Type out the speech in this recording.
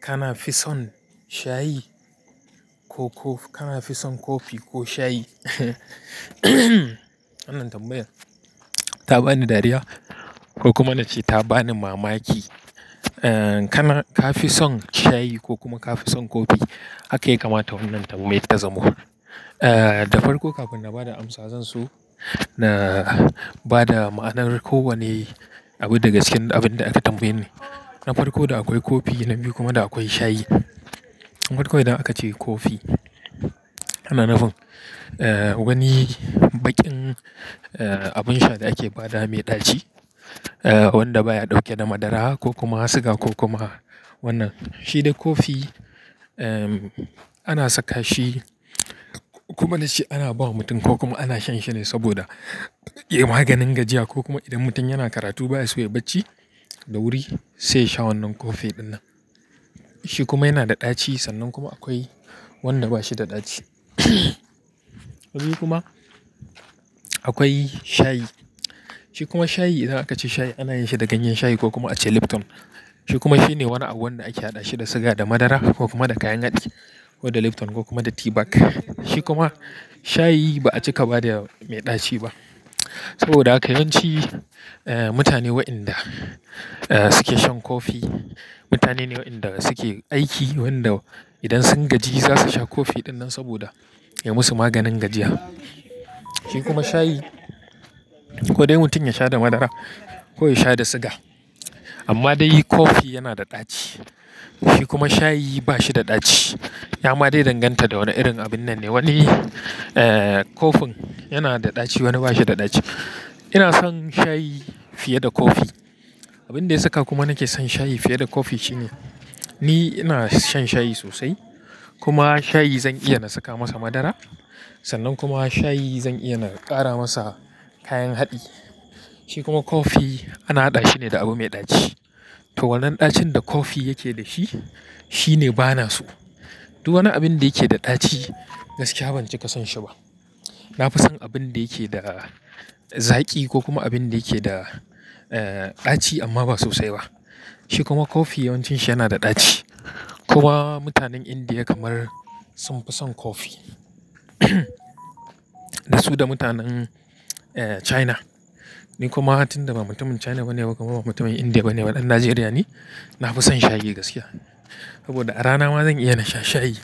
Kana fi son shayi ko ko, kana fi son kofi ko shayi? Wannan tambaya ta bani dariya ko kuma na ce ta bani mamaki. Kana, ka fi son shayi ko kuma ka fi son kofi, haka yake mata wannan tambayar ta zamo. Da farko kafin na ba da amsa zansa so, na ba da ma'anar kowane abu da ga cikin abin da aka tambaye ni. Na farko da akwai kofi na biyu kuma da akwai shayi. Farki idan aka ce kofi. Wannan abin, wani baƙin, abin sha da ake ba da mai ɗaci, wanda baya ɗauke da madara ko kuma suga ko kuma wannan. Shi dai kofi, ana saka shi kuma da shi ana ba wa mutum ko kuma ana sha shi ne saboda ya yi maganin gajiya ko kuma idan mutum yana karatu baya so ya yi bacci da wuri, sai ya sha wannan kofi ɗinnan. Shi kuma yana da ɗaci sannan kuma akwai wanda ba shi da ɗaci. Wani kuma akwai shayi. Shi kuma shayi idan aka ce shayi ana yinshi da ganyen shayi ko kuma ace Lipton. Shi kuma shine wani abu wanda ake haɗa shi da suga da madara ko kuma da kayan haɗi ko da Lipton ko kuma da teabag. Shi kuma shayi ba a cika ba da mai ɗaci ba saboda haka yawanci, mutane waɗanda, suke shan kofi, mutane ne waɗanda suke aiki, wanda idan sun gaji za su sha kofi ɗinnan saboda ya yi musu maganin gajiya. Shi kuma shayi ko dai mutum ya sha da madara ko ya sha da suga. Amma dai kofi yana da ɗaci. Shi kuma shayi ba shi da ɗaci. Ya ma dai danganta da wane irin abun nan ne. Wani, kofin yana da ɗaci, wani ba shi da ɗaci. Ina son shayi fiye da kofi. Abin da ya saka kuma nake son shayi fiye da kofi shine ni ina shan shayi sosai kuma shayi zan iya na saka masa madara. Sannan kuma shayi zan iya na ƙara masa kayan haɗi. Shi kuma kofi ana haɗa shi ne da abu mai ɗaci. Toh wannan ɗacin da kofi yake da shi, shi ne bana so. Duk wani abin da yake da ɗaci gaskiya ban cika son shi ba. Na fi son abun da yake da zaƙi ko kuma abin da yake da, ɗaci amma ba sosai ba. Shi kuma kofi yawancin shi yana da ɗaci. Kuma mutanen Indiya kamar sun fi son kofi. Da su da mutanen, China. Ni kuma tunda ba mutumin China ba ne ba kuma ba mutumin Indiya ba ne, dan Najeriya ne, na fi son shayi gaskiya. Saboda a rana ma zan iya na sha shayi